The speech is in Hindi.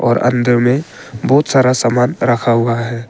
और अंदर में बहुत सारा सामान रखा हुआ है।